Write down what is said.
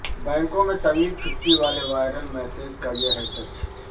بینکوں میں طویل چھٹی والے وائرل میسیج کا یہ ہے سچ